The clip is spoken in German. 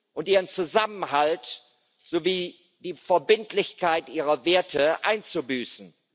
und ihren Zusammenhalt sowie die Verbindlichkeit ihrer Werte einzubüßen.